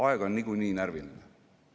Aeg on niikuinii närviline.